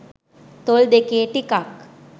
තොල් දෙකේ ටිකක්